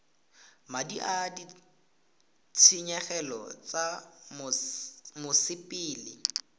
madi a ditshenyegelo tsa mosepele